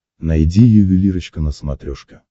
найди ювелирочка на смотрешке